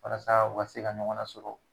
Walasa u ka se ka ɲɔgɔn nasɔrɔ.